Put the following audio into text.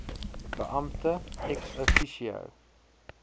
beampte ex officio